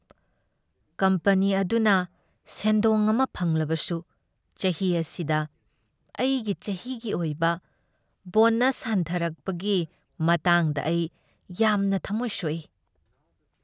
Company ꯑꯗꯨꯅ ꯁꯦꯟꯗꯣꯡ ꯑꯃ ꯐꯪꯂꯕꯁꯨ, ꯆꯍꯤ ꯑꯁꯤꯗ ꯑꯩꯒꯤ ꯆꯍꯤꯒꯤ ꯑꯣꯏꯕ ꯕꯣꯅꯁ ꯍꯟꯊꯔꯛꯄꯒꯤ ꯃꯇꯥꯡꯗ ꯑꯩ ꯌꯥꯝꯅ ꯊꯝꯃꯣꯏ ꯁꯣꯛꯏ꯫